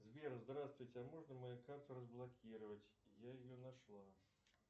сбер здравствуйте а можно мою карту разблокировать я ее нашла